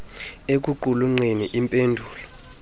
ekuqulunqeni im pendulo